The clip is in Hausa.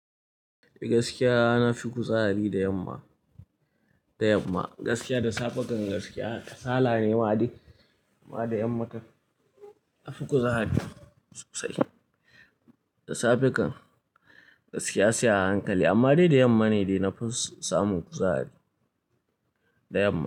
Gaskiya na fi kuzari da yamma, da yamma. Gaskiya da safe kan gaskiya kasala ne maɗai amma da yamma na fi kuzari sosai. Da safe kan gaskiya sai a hankali amma dai da yamma ne dai na fi samun kuzari, da yamma.